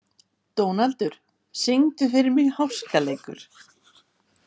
Dónaldur, syngdu fyrir mig „Háskaleikur“.